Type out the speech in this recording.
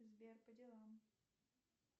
сбер по делам